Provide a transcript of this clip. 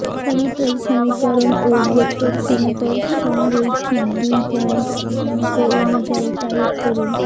সমতল সমীকরণ ও ভেক্টর সমতল সমরৈখিক দুই পয়েন্ট স্থানাঙ্ক অনুযায়ী টাইপ করুন